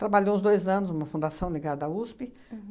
Trabalhou uns dois anos numa fundação ligada à USP.